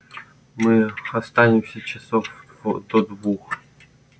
мы останемся часов до двух